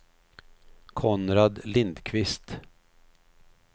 Konrad Lindkvist